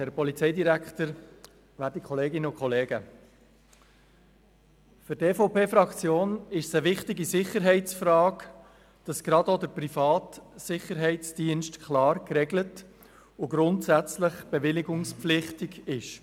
Für die EVP-Fraktion ist es wichtig, dass gerade auch der private Sicherheitsdienst klar geregelt und grundsätzlich bewilligungspflichtig ist.